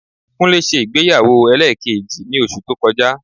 Kúnlé ṣe ìgbéyàwó ẹlẹ́ẹ̀kejì ní oṣù tó kọjá